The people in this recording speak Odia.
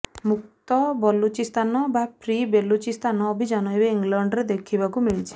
ମୁକ୍ତ ବଲୁଚିସ୍ତାନ ବା ଫ୍ରି ବେଲୁଚିସ୍ତାନ ଅଭିଯାନ ଏବେ ଇଂଲଣ୍ଡରେ ଦେଖିବାକୁ ମିଳିଛି